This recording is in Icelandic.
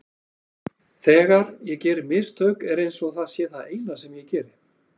Þegar ég geri mistök er eins og það sé það eina sem ég geri.